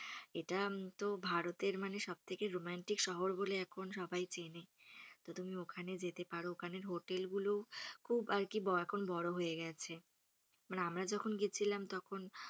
এটা তো ভারতের মানে সব থেকে রোমান্টিক শহর বলে এখন সবাই চেনে। তো তুমি ওখানে যেতে পারো । ওখানের হোটেলগুলোও খুব আর কি এখন বড়ো হয়ে গেছে মানে আমরা যখন গেছিলাম তখন,